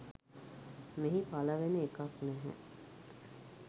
මෙහි පළ වෙන එකක් නැහැ.